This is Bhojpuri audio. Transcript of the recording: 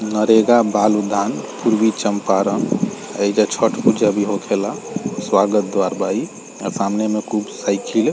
नरेगा बाल उद्यान पूर्वी चम्पारण एजा छठ पूजा भी होखेला स्वागत द्वार बा इ आ सामने में खूब साइकिल --